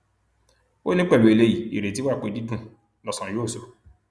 ó ní pẹlú eléyìí ìrètí wa pé dídùn lọsàn yóò sọ